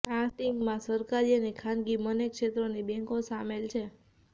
આ સ્ટિંગમાં સરકારી અને ખાનગી બંને ક્ષેત્રોની બેંકો સામેલ છે